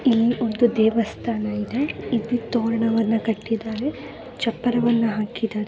ಇಲ್ಲಿ ಒಂದು ದೇವಸ್ಥಾನ ಇದೆ ಇಲ್ಲಿ ತೋರಣವನ್ನ ಕಟ್ಟಿದರೆ ಚಪ್ಪರವನ್ನ ಹಾಕಿದ್ದಾರೆ .